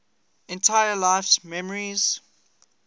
entire life's memories